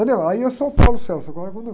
Entendeu? Aí eu sou o. Agora, quando...